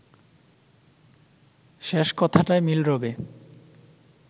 শেষ কথাটায় মিল রবে